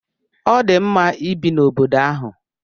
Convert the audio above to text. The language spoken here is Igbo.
Ọ dị mma ibi n'obodo ahụ.